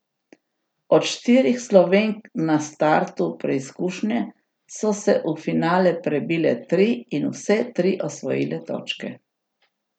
Od štirih Slovenk na startu preizkušnje so se v finale prebile tri in vse tri osvojile točke.